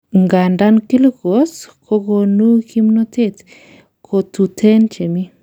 Ngandan Kilucose kokonu kimnotet, kotuten chemi.